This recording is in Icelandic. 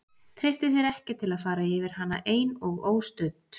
Treysti sér ekki til að fara yfir hana ein og óstudd.